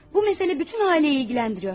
Bu məsələ bütün ailəni ilgiləndirir.